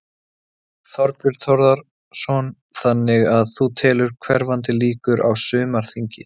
Þorbjörn Þórðarson: Þannig að þú telur hverfandi líkur á, á sumarþingi?